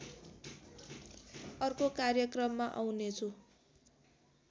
अर्को कार्यक्रममा आउनेछु